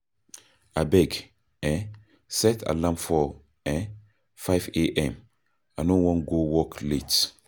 Abeg, um set alarm for um 5 a.m I no wan go work late.